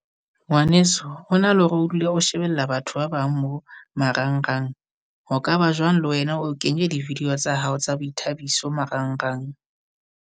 Ngwaneso ho na le hore o dule o shebella batho ba bang mo marangrang, ho ka ba jwang le wena o kenye di-video tsa hao tsa boithabiso marangrang?